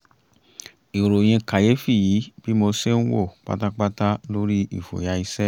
ìròyìn kàyéfì yí bí mo ṣe ń wò pátápátá lórí ìfòyà iṣẹ́